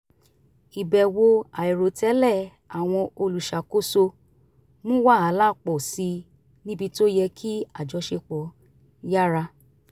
ìbẹ̀wò àìròtẹ́lẹ̀ àwọn olùṣàkóso mu wàhálà pọ̀ síi níbi tó yẹ kí àjọṣepọ̀ yára